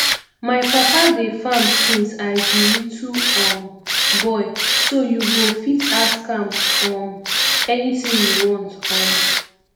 my papa dey farm since i be little um boy so you go fit ask am um anything you want um